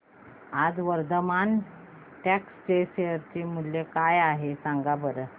आज वर्धमान टेक्स्ट चे शेअर मूल्य काय आहे सांगा बरं